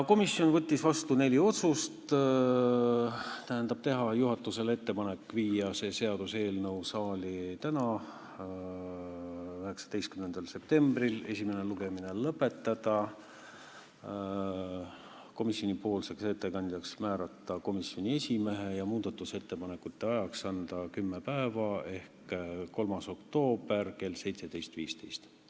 Komisjon võttis vastu neli otsust: teha juhatusele ettepanek viia see seaduseelnõu saali tänaseks, 19. septembriks, esimene lugemine lõpetada, komisjoni ettekandjaks määrata komisjoni esimees ja muudatusettepanekute ajaks anda kümme päeva ehk 3. oktoober kell 17.15.